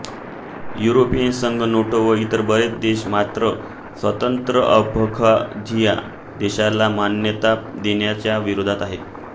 European संघ NATO व इतर बरेच देश मात्र स्वतंत्र अबखाझिया देशाला मान्यता देण्याच्या विरोधात आहेत